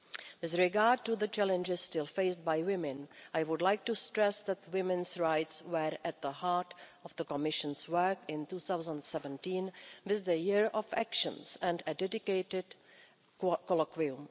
With regard to the challenges still faced by women, I would like to stress that women's rights were at the heart of the Commission's work in 2017 with the year of actions and a dedicated colloquium.